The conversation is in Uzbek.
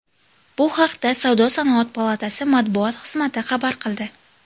Bu haqda Savdo-sanoat palatasi matbuot xizmati xabar qildi.